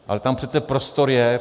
Ale tam přece prostor je.